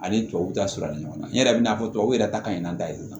Ani tubabuw ta sura ɲɔgɔn na n yɛrɛ bɛ n'a fɔ tuwawuw yɛrɛ ta ka ɲi an da yɛlɛ